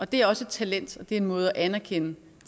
det er også et talent og det er en måde at anerkende